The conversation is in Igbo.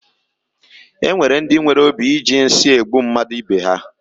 E nwere ndi nwere obi i ji nsị egbu mmadụ ibe ha.